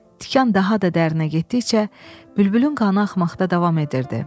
Tikan daha da dərinə getdikcə bülbülün qanı axmaqda davam edirdi.